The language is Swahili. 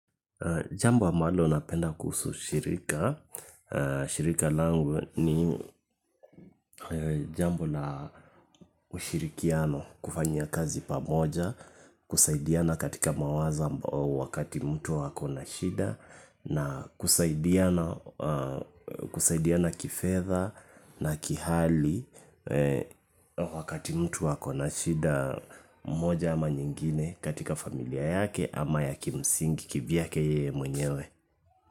Jambo ambalo napenda kuhusu shirika, shirika langu ni jambo la ushirikiano kufanya kazi pamoja, kusaidiana katika mawazo wakati mtu ako na shida, na kusaidiana kifedha na kihali wakati mtu ako na shida mmoja ama nyingine katika familia yake ama ya kimsingi kivyake yeye mwenyewe.